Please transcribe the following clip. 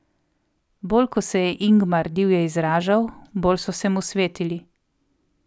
Bolj ko se je Ingmar divje izražal, bolj so se mu svetili.